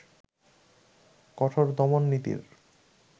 কঠোর দমননীতির